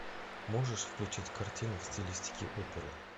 можешь включить картину в стилистике оперы